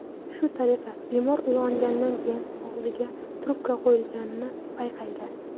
Shu tariqa bemor uyg‘onganidan keyin og‘ziga trubka qo‘yilganini payqaydi.